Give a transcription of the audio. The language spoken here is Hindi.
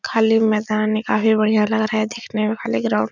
खाली मैदान है काफी बढ़िया लग रहा है देखने में। खाली ग्राउंड --